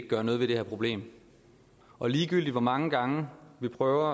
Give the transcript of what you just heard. gøre noget ved det her problem og ligegyldigt hvor mange gange vi prøver